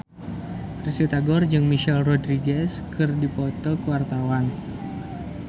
Risty Tagor jeung Michelle Rodriguez keur dipoto ku wartawan